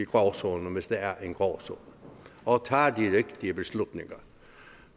gråzonen hvis der er en gråzone og tager de rigtige beslutninger